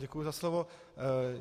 Děkuji za slovo.